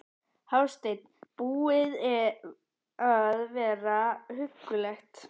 Hafsteinn: Búið að vera huggulegt?